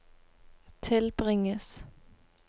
tilbringes